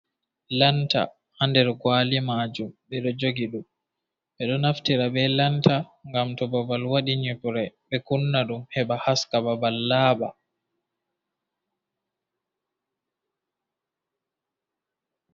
Lanta ha nɗer kawali majum beɗo jogi ɗum. be ɗo naftira be lanta gam to babal waɗi yubrai be kunna ɗum heba haska babal laaba.